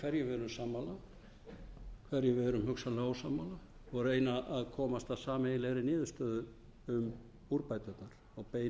hverju við erum sammála hverju við erum hugsanlega ósammála og reyna að komast að sameiginlegri niðurstöðu um úrbæturnar og beina því til viðkomandi aðila